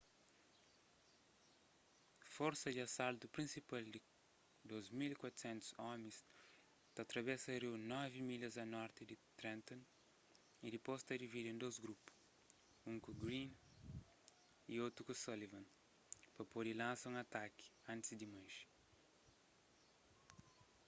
forsa di asaltu prinsipal di 2.400 omis ta travesa riu novi milhas a norti di trenton y dipôs ta dividi en dôs grupus un ku greene y otu ku sullivan pa pode lansa un ataki antis di manxe